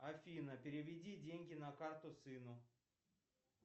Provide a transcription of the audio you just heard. афина переведи деньги на карту сыну